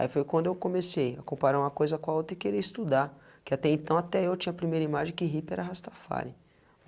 Aí foi quando eu comecei a comparar uma coisa com a outra e querer estudar, que até então até eu tinha a primeira imagem que hippie era Rastafari.